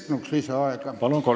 Palun lisaaega!